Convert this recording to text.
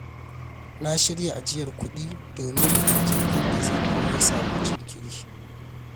Na shirya ajiyar kudi domin idan jirgin da zan hau ya samu jinkiri.